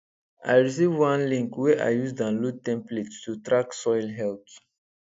i receive one link wey i use download template to track soil health